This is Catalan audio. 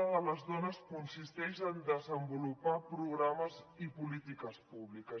de les dones consisteix en desenvolupar programes i polítiques públiques